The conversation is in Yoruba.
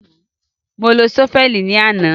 Mo lo ṣọ́fẹ̀lì náà ní àná.